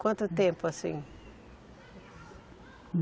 Quanto tempo assim?